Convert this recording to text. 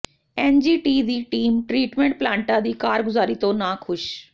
NGT ਦੀ team treatment ਪਲਾਂਟਾਂ ਦੀ ਕਾਰਗੁਜ਼ਾਰੀ ਤੋਂ ਨਾਖੁਸ਼